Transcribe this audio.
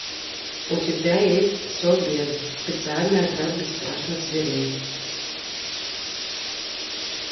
у тебя есть собез специальный отряд бесстрашных зверей